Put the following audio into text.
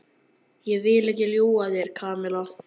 Ég vil ekki ljúga að þér, Kamilla.